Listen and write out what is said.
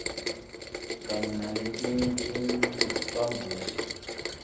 kanye naletinye timphambosi